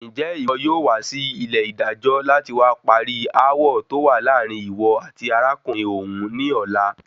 Njẹ iwọ yóò wá sí ilẹ ìdájọ láti wa parí aawọ tó wà láàárín iwọ àti arákùnrin òun ní ọ̀la?